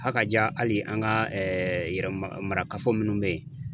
Hakaja hali an ka yɛrɛmarakafo minnu bɛ yen